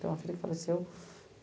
Tem uma filha que faleceu.